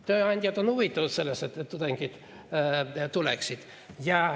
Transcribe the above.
Tööandjad on huvitatud sellest, et tudengid tuleksid.